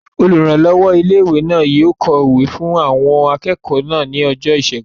Olùrànlọ́wọ́ ilé-ìwé náà yóò kọ̀wé fún àwọn akẹ́kọ̀ọ́ náà ní ọjọ́ ìṣẹ́gun